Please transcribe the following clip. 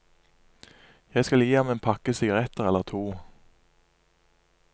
Jeg skal gi ham en pakke sigaretter eller to.